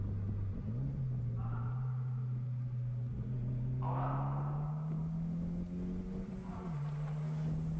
санат талғат талап